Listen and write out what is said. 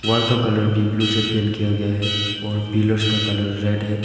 Wall का colour भी blue से पेंट किया गया है और पिलर्स का कलर रेड है।